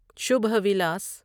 شبہ ولاس